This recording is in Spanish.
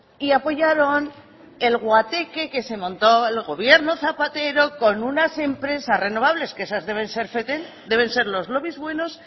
y apoyaron el guateque que se montó el gobierno zapatero con unas empresas renovables que esas deben ser fetén deben ser los lobbies buenos